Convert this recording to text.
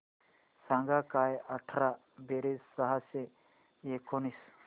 सांग काय अठरा बेरीज सहाशे एकोणीस